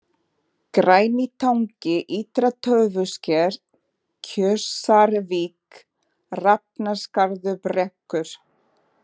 Grænitangi, Ytra-Tófusker, Kjósarvík, Hrafnaskarðsbrekkur